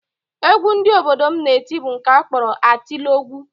Egwu ndị obodo m na-eti bụ nke a kpọrọ atịlọgwụ